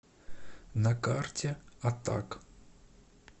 на карте атак